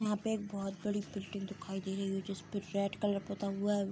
यहाँ पे एक बहुत बड़ी बिल्डिंग दिखाई दे रही है जिसपे रेड कलर पोता हुआ है।